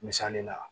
Misali la